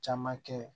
Caman kɛ